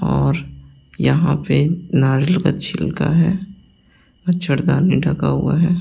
और यहां पे नारियल का छिलका है मच्छर दानी ढंका हुआ है।